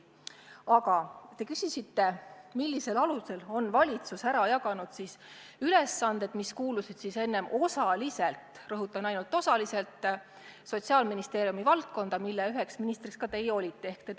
Aga te küsisite, millisel alusel on valitsus ära jaganud ülesanded, mis kuulusid enne osaliselt – rõhutan: ainult osaliselt – Sotsiaalministeeriumi valdkonda, mida ministrina olete juhtinud ka teie.